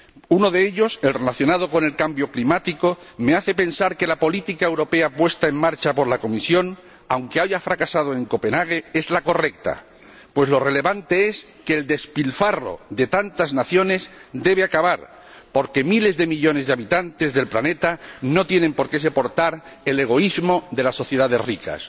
Uno de ellos, el relacionado con el cambio climático, me hace pensar que la política europea puesta en marcha por la Comisión, aunque haya fracasado en Copenhague, es la correcta, pues lo relevante es que el despilfarro de tantas naciones debe acabar, porque miles de millones de habitantes del planeta no tienen por qué soportar el egoísmo de las sociedades ricas.